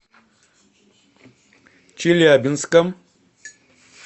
челябинском